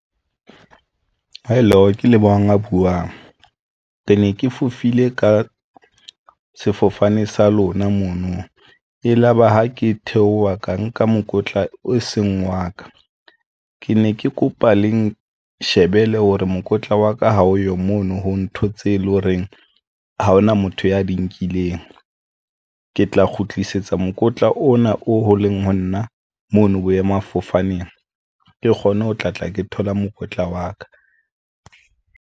Hello, ke Lebohang a buwang re ne ke fofile ka sefofane sa lona. Mono e laba, ha ke theoha ka nka mokotla o seng wa ka, ke ne ke kopa le nshebele hore mokotla wa ka ha o yo mono ho ntho tse leng horeng ha hona motho ya di nkileng ke tla kgutlisetsa mokotla ona o ho leng ho nna mona boemafofaneng ke kgone ho tla tla ke thola mokotla wa ka.